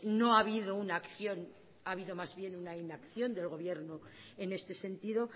no ha habido una acción ha habido más bien una inacción del gobierno en este sentido